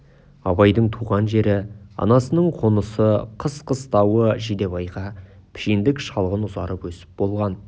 абайдың туған жері анасының қонысы қыс қыстауы жидебайға пішендік шалғын ұзарып өсіп болған